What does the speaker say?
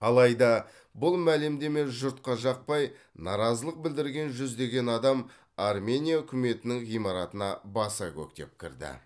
алайда бұл мәлімдеме жұртқа жақпай наразылық білдірген жүздеген адам армения үкіметінің ғимаратына баса көктеп кірді